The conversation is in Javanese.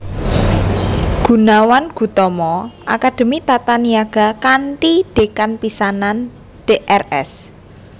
Goenawan Goetomo Akademi Tata Niaga kanthi Dekan pisanan Drs